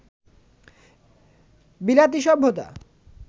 বিলাতী সভ্যতা